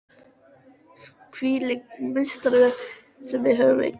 Hvílíkur meistari sem við höfum eignast!